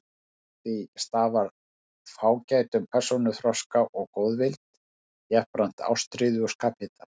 Af því stafar fágætum persónuþroska og góðvild, jafnframt ástríðu og skaphita.